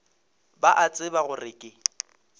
ba a tseba gore ke